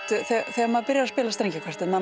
þegar maður byrjar að spila í strengjakvartett